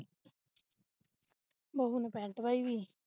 ਬਹੁ ਨੂੰ pent ਪਾਈ ਵੀ